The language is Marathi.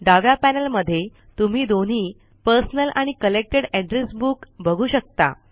डाव्या पैनल मध्ये तुम्ही दोन्ही पर्सनल आणि कलेक्टेड एड्रेस बुक बघू शकता